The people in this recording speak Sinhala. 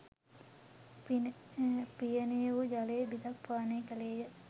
පියනේ වූ ජලය බිඳක් පානය කළේය